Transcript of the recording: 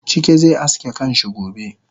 Chike ze aske kanshi gobe